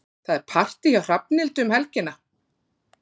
Það er partí hjá Hrafnhildi um helgina.